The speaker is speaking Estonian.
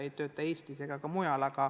Need ei tööta Eestis ega ka mujal.